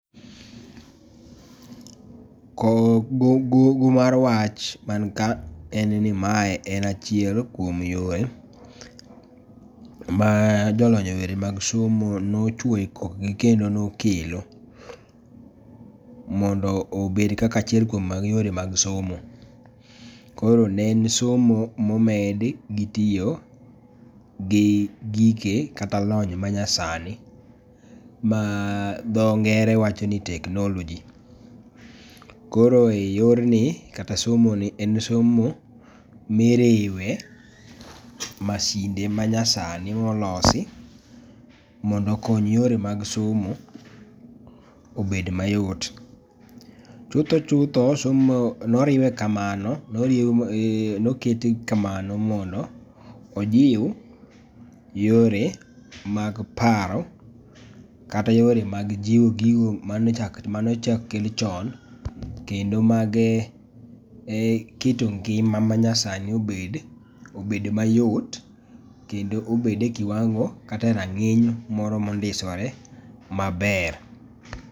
Gogo mar wach man ka en ni mae en achiel kuom yore ma jolony eyore mag somo nochwoyo e kok gi kendo nokelo mondo obed kaka achiel mag yore mag somo. Koro ne en somo momedi gi tiyo gi gike kata lony manyasani ma dho ngere wacho ni technology. Koro e yorni kata somoni en somo miriwe masinde ma nyasani molosi mondo kony yore mag somo obed mayot. Chutho chutho somo noriwe kamano nokete kamano mondo ojiw yore mag paro kata yore mag jiwo gigo manochak kel chon kendo mag keto ngima ma nyasani obed mayot kendo obed e kiwango kata e rang'iny moro mondisore maber,